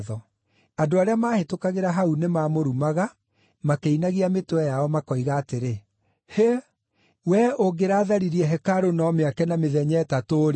Andũ arĩa maahĩtũkagĩra hau nĩmamũrumaga makĩinagia mĩtwe yao, makoiga atĩrĩ, “Hĩ! Wee ũngĩratharirie hekarũ na ũmĩake na mĩthenya ĩtatũ-rĩ,